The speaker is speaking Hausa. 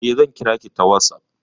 Eh, zan kira ki ta WhatsApp.